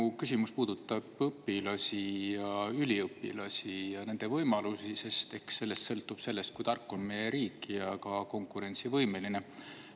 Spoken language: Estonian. Mu küsimus puudutab õpilasi ja üliõpilasi ja nende võimalusi, sest eks sellest sõltub see, kui tark on meie riik ja ka konkurentsivõimeline.